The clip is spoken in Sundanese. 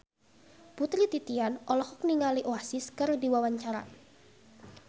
Putri Titian olohok ningali Oasis keur diwawancara